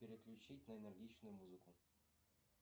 переключить на энергичную музыку